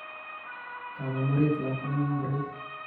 Kakomurit lakwanon ngoroik